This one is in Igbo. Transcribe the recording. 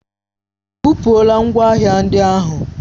Ebupula ngwa ahịa ndị ahụ.